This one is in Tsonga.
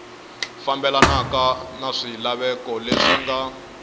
fambelanaka na swilaveko leswi nga